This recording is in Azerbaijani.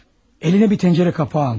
Əlinə bir qazan qapağı almış.